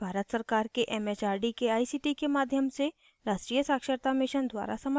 यह भारत सरकार के it it आर डी के आई सी टी के माध्यम से राष्ट्रीय साक्षरता mission द्वारा समर्थित है